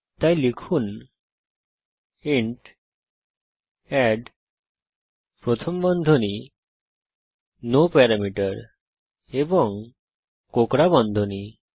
তাই লিখুন int add প্রথম বন্ধনী নো প্যারামিটার এবং কোঁকড়া বন্ধনী